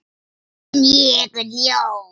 En ég er ljón.